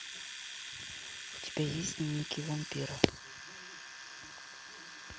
у тебя есть дневники вампира